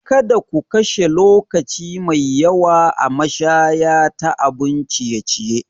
Kada ku kashe lokaci mai yawa a mashaya ta abun ciye-ciye.